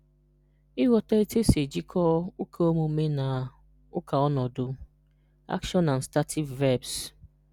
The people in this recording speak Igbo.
Ịghọta otu esi ejikọta ụkaomume na ụkaọnọdụ (action and stative verbs).